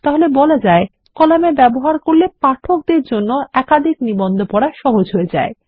তাহলে বলা যায় কলাম এর ব্যবহার করলে পাঠকের জন্য একাধিক নিবন্ধ পড়া সহজ করে দেয়